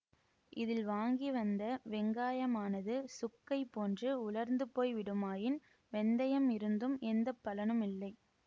இதில் வாங்கி வந்த வெங்காயமானது சுக்கைபோன்று உலர்ந்துபோய் விடுமாயின் வெந்தயம் இருந்தும் எந்த பலனும் இல்லை